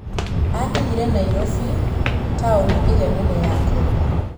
Aakinyire Nairobi, taũni ĩrĩa nene ya Kenya.